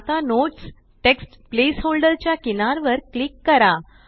आता notes text placeholder च्या किनार वर क्लिक करा